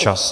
Čas.